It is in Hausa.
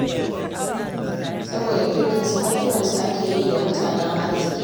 Saboda kirkinsu har kiran su ake yi da mutanen arziƙi.